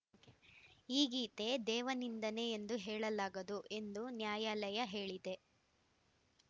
ಈ ಗೀತೆ ದೇವನಿಂದನೆ ಎಂದು ಹೇಳಲಾಗದು ಎಂದು ನ್ಯಾಯಾಲಯ ಹೇಳಿದೆ